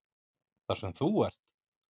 Þar sem þú ert?